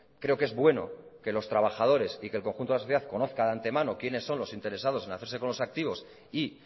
creo que es bueno que los trabajadores y que el conjunto de la sociedad conozca de antemano quienes son los interesados en hacerse con los activos y